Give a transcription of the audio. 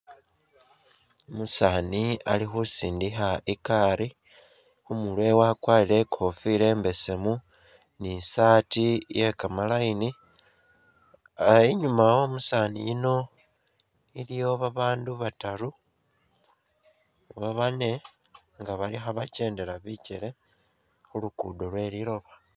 Umusaani ali khusindikha igaari, khu murwe wakwarire i'kofila imbesemu ni i'saati iye kamaline. Ah inyuma wo umusaani yuno iliwo babaandu bataru oba bane nga bali khabakendela bikele khu lugudo lwe liloba.